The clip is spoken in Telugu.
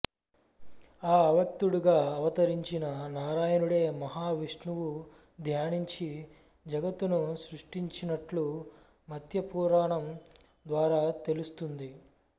ఆ అవ్యక్తుడు గా అవతరించిన నారాయణుడే మహా విష్ణువు ధ్యానించి జగత్తును సృష్టించినట్లు మత్య్యపురాణం ద్వారా తెలుస్తుంది